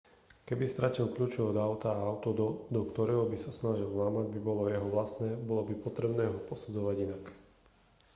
keby stratil kľúče od auta a auto do do ktorého by sa snažil vlámať by bolo jeho vlastné bolo by potrebné ho posudzovať inak